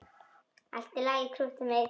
Allt í lagi, krúttið mitt!